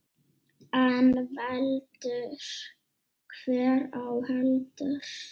En veldur hver á heldur.